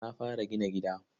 Na fara gina gida.